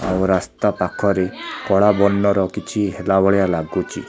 ଆଉ ରାସ୍ତା ପାଖରେ କଳା ବର୍ଣ୍ଣର କିଛି ହେଲା ଭଳିଆ ଲାଗୁଛି।